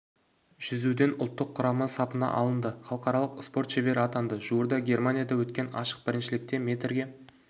жүзуден ұлттық құрама сапына алынды халықаралық спорт шебері атанды жуырда германияда өткен ашық біріншілікте метрге